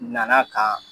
Nana kan